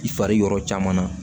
I fari yɔrɔ caman na